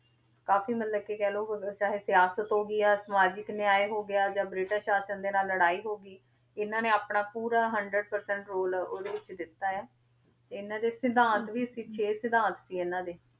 ਕਾਫ਼ੀ ਮਤਲਬ ਕਿ ਕਹਿ ਲਓ ਹੋਰ ਚਾਹੇ ਸਿਆਸਤ ਹੋ ਗਈ ਜਾਂ ਸਮਾਜਿਕ ਨਿਆਂਏ ਹੋ ਗਿਆ, ਜਾਂ ਬ੍ਰਿਟਿਸ਼ ਸਾਸਨ ਦੇ ਨਾਲ ਲੜਾਈ ਹੋ ਗਈ, ਇਹਨਾਂ ਨੇ ਆਪਣਾ ਪੂਰਾ hundred percent ਰੋਲ ਉਹਦੇ ਵਿੱਚ ਦਿੱਤਾ ਹੈ, ਇਹਨਾਂ ਦੇ ਸਿਧਾਂਤ ਵੀ ਸੀ ਛੇ ਸਿਧਾਂਤ ਸੀ ਇਹਨਾਂ ਦੇ,